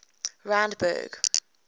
randburg